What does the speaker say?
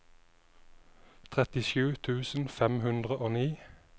trettisju tusen fem hundre og ni